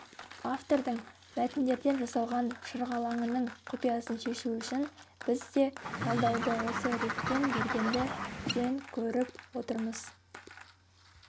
автордың мәтіндерден жасалған шырғалаңының құпиясын шешу үшін біз де талдауды осы ретпен бергенді жөн көріп отырмыз